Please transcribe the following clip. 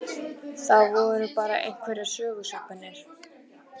Það voru bara einhverjar sögusagnir.